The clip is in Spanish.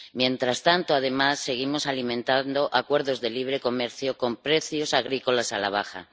Mientras tanto, además, seguimos alimentando acuerdos de libre comercio con precios agrícolas a la baja.